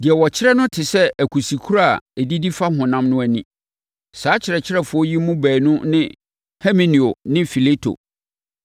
Deɛ wɔkyerɛ no te sɛ akusikuro a ɛdidi fa honam no ani. Saa akyerɛkyerɛfoɔ yi mu baanu ne Himeneo ne Fileto.